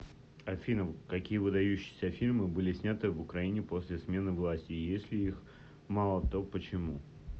афина какие выдающиеся фильмы были сняты в украине после смены власти и если их мало то почему